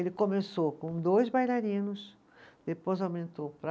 Ele começou com dois bailarinos, depois aumentou para